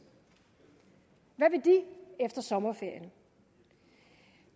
hvad vil de efter sommerferien